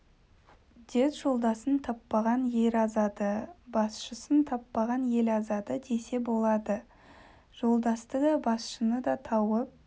дед жолдасын таппаған ер азады басшысын таппаған ел азады десе болады жолдасты да басшыны да тауып